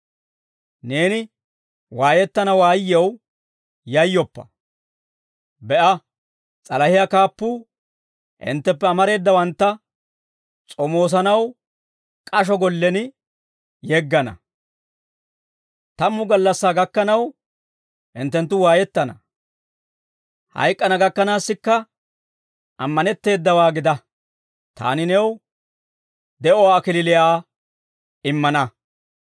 Neeni waayettana waayyew yayyoppa. Be'a, s'alahiyaa kaappuu hintteppe amareedawantta s'omoosanaw k'asho gollen yeggana; tammu gallassaa gakkanaw hinttenttu waayettana. Hayk'k'ana gakkanaassikka ammanetteedawaa gida; taani new de'uwaa kalachchaa immana.